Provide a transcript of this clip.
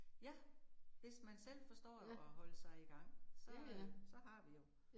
Ja. Hvis man selv forstår at at holde sige i gang, så øh så har vi jo